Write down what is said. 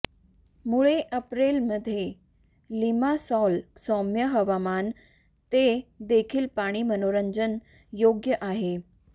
मुळे एप्रिल मध्ये लिमासॉल सौम्य हवामान ते देखील पाणी मनोरंजन योग्य आहे